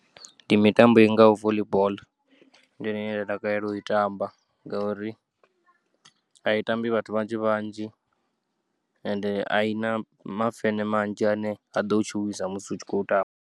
Ndi mitambo ingaho voḽi boḽo, ndi yone ine nda takalela uyi tamba ngauri ayi tambi vhathu vhanzhi vhanzhi ende ayina mafene manzhi ane a ḓou tshuwisa musi u tshi khou tamba.